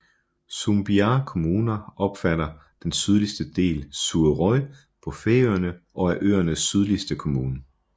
Sumbiar kommuna omfatter den sydligste del af Suðuroy på Færøerne og er øernes sydligste kommune